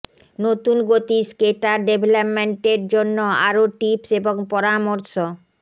নতুন গতি স্কেটার ডেভেলপমেন্টের জন্য আরো টিপস এবং পরামর্শ